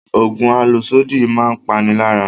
Oògùn àlòsódì máa ń pani lára